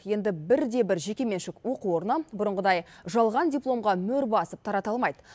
енді бір де бір жекеменшік оқу орны бұрынғыдай жалған дипломға мөр басып тарата алмайды